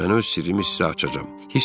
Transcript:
Mən öz sirrimi sizə açacağam.